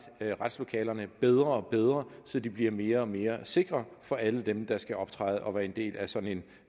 retslokalerne bedre og bedre landet så de bliver mere og mere sikre for alle dem der skal optræde og være en del af sådan